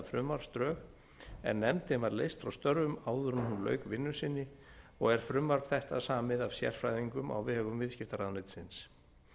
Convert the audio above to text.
frumvarpsdrög en nefndin var leyst frá störfum áður en hún lauk vinnu sinni og er frumvarp þetta samið af sérfræðingum á vegum viðskiptaráðuneytisins